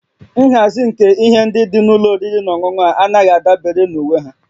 Nhazi nke ihe ndị dị na ụlọ oriri na ọṅụṅụ a anaghị adabere na uwe ha